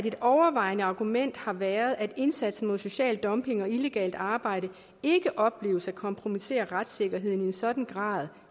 et overvejende argument har været at indsatsen mod social dumping og illegalt arbejde ikke opleves at kompromittere retssikkerheden i en sådan grad